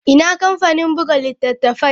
Ina kamfanin buga littattafai?